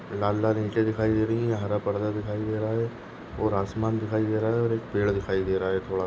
लाल लाल इंटे दिखाई दे रही है हरा पर्दा दिखाई दे रहा है और आसमान दिखाई दे रहा है और एक पेड़ दिखाई दे रहा है थोड़ा।